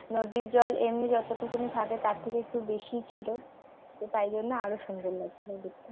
নদীর জল এমনি যতোটুকুনি থাকে তার থেকে একটু বেশিই ছিল তো তাই জন্য আরও সুন্দর লাগছিল দেখতে